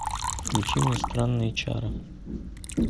включи мне странные чары